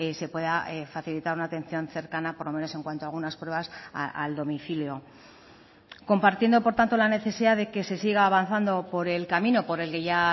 se pueda facilitar una atención cercana por lo menos en cuanto a algunas pruebas al domicilio compartiendo por tanto la necesidad de que se siga avanzando por el camino por el que ya